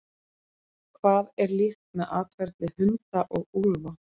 Hvað er líkt með atferli hunda og úlfa?